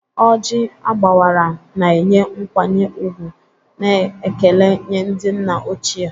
Ojii agbawara, na-enye nkwanye ùgwù na ekele nye ndị nna ochie.